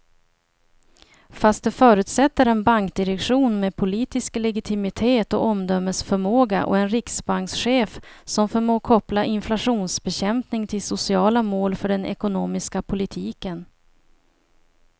Fast det förutsätter en bankdirektion med politisk legitimitet och omdömesförmåga och en riksbankschef som förmår koppla inflationsbekämpning till sociala mål för den ekonomiska politiken.